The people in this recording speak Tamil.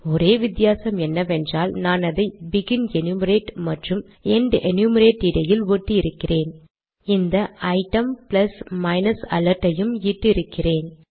ஒரே வித்தியாசம் என்னவென்றால் நான் அதை பெகின் எனுமெரேட் மற்றும் எண்ட் எனுமெரேட் இடையில் ஒட்டி இருக்கிறேன் இந்த ஐட்டம் பிளஸ் மைனஸ் அலர்ட் ஐயும் இட்டு இருக்கிறேன்